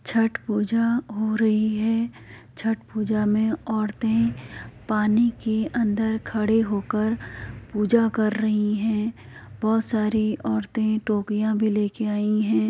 छठ पूजा हो रही है। छठ पूजा में औरतें पानी के अंदर खड़े होकर पूजा कर रही हैं। बहोत सारी औरतें टोकरियां भी लेके भी आई हैं।